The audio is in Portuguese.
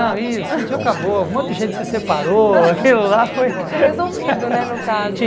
Não, e o sítio acabou, um monte de gente se separou, aquilo lá foi... Porque tinha resolvido, né, no caso.